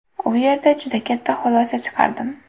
U yerda juda katta xulosa chiqardim.